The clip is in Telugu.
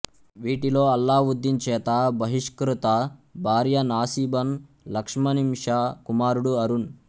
వీటిలో అల్లావుద్దీన్ చేత బహిష్కృత భార్య నాసిబన్ లక్ష్మణింషా కుమారుడు అరుణ్